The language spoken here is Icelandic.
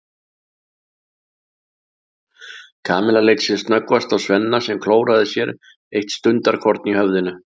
Kamilla leit sem snöggvast á Svenna sem klóraði sér eitt stundarkorn í höfðinu.